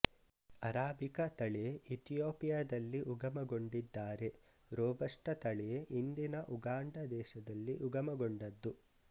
arabica ತಳಿ ಇತಿಯೋಪಿಯದಲ್ಲಿ ಉಗಮಗೊಂಡಿದ್ದಾರೆ ರೋಬಸ್ಟ ತಳಿ ಇಂದಿನ ಉಗಾಂಡ ದೇಶದಲ್ಲಿ ಉಗಮಗೊಂಡದ್ದು